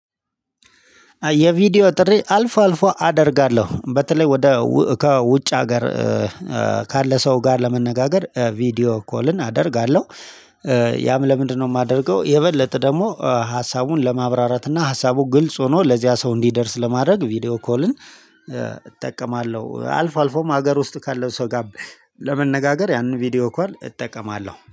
የቪዲዮ ጥሪ አልፎ አልፎ አደርጋለሁ በተለይ ወደ ከውጭ ሀገር ካለ ሰው ጋር ለመነጋገር ቪዲዮ ኮልን አደርጋለሁ። ያም ለምንድነው የማደርገው? የበለጠ ደግሞ ሀሳቡን ለማብራራት እና ሀሳቡ ግልጽ ሆኖ ለዚያ ሰው እንዲደርስ ለማድረግ ቪዲዮ ኮልን እጠቀማለው አልፎ አልፎም ሀገር ውስጥ ካለው ሰው ጋር ለመነጋገር ያንን ቪዲዮ ኮል እጠቀማለሁ